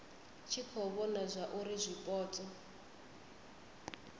tshi khou vhona zwauri zwipotso